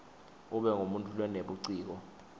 ube ngumuntfu lonebuciko